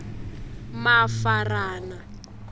mafarana